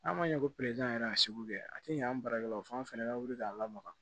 N'a ma ɲɛ ko yɛrɛ a sugu kɛ a tɛ ɲɛ an barakɛlaw fana bɛ wuli k'an lamaga